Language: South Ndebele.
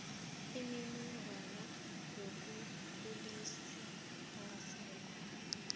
imininingwana yomkhulisi ongasekho